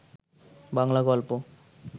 বাংলা গল্প